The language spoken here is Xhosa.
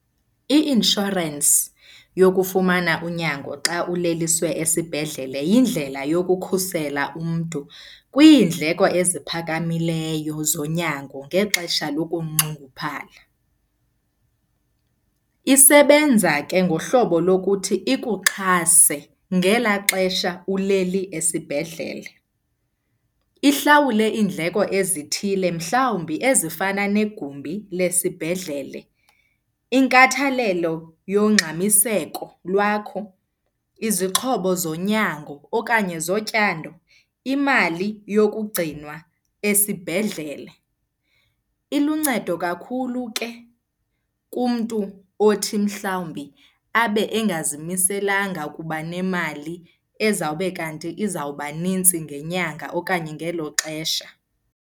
I-inshorensi yokufumana unyango xa uleliswe esibhedlele yindlela yokukhusela umntu kwiindleko eziphakamileyo zonyango ngexesha lokunxunguphala. Isebenza ke ngohlobo lokuthi ikuxhase ngelaa xesha uleli esibhedlele. Ihlawule iindleko ezithile mhlawumbi ezifana negumbi lesibhedlele, inkathalelo yongxamiseko lwakho, izixhobo zonyango okanye zotyando, imali yokugcinwa esibhedlele. Iluncedo kakhulu ke kumntu othi mhlawumbi abe engazimiselanga ukuba nemali ezawube kanti izawuba nintsi ngenyanga okanye ngelo xesha.